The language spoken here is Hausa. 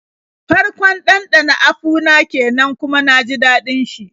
Farkon ɗanɗana apu na kenan kuma na ji daɗin shi.